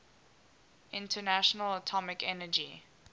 international atomic energy